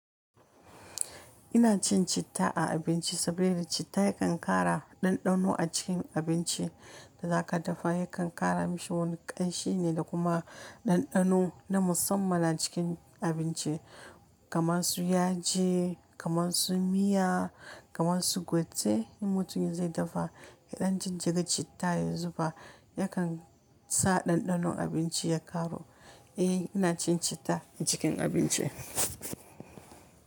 Ina cin citta a abinci saboda citta yakan ƙara ɗanɗano a cikin abinci da za ka dafa, yakan ƙara mashi wani ƙanshi ne da kuma ɗanɗano na musamman a cikin abinci kamar su yaji, kamar su miya, kamar su gwate. In mutumin zai dafa, idan cin ciga citta ya zuba yakan sa ɗanɗano abinci ya ƙaru. Eh ina cin citta a cikin abinci.